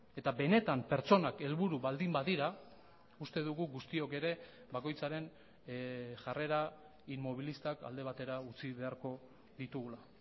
eta benetan pertsonak helburu baldin badira uste dugu guztiok ere bakoitzaren jarrera inmobilistak alde batera utzi beharko ditugula